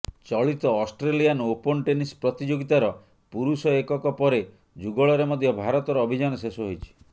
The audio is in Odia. ଚଳିତ ଅଷ୍ଟ୍ରେଲିଆନ୍ ଓପନ୍ ଟେନିସ୍ ପ୍ରତିଯୋଗିତାର ପୁରୁଷ ଏକକ ପରେ ଯୁଗଳରେ ମଧ୍ୟ ଭାରତର ଅଭିଯାନ ଶେଷ ହୋଇଛି